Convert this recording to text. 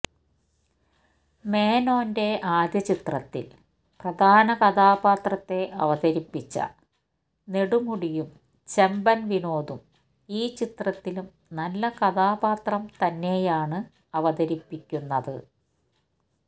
മേനോന്റെ ആദ്യചിത്രത്തില് പ്രധാന കഥാപാത്രത്തെ അവതരിപ്പിച്ച നെടുമുടിയുംചെമ്പന് വിനോദും ഈ ചിത്രത്തിലും നല്ല കഥാപാത്രം തന്നെയാണ് അവതരിപ്പിക്കുന്നത്